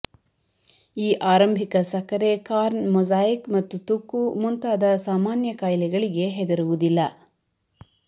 ಈ ಆರಂಭಿಕ ಸಕ್ಕರೆ ಕಾರ್ನ್ ಮೊಸಾಯಿಕ್ ಮತ್ತು ತುಕ್ಕು ಮುಂತಾದ ಸಾಮಾನ್ಯ ಕಾಯಿಲೆಗಳಿಗೆ ಹೆದರುವುದಿಲ್ಲ